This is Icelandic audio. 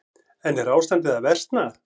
En er ástandið að versna?